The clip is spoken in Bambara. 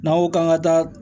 N'an ko k'an ka taa